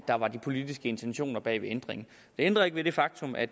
der var de politiske intentioner bag ændringen det ændrer ikke ved det faktum at